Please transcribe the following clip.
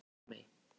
Pálmey